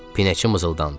Pinəçi mızıldandı.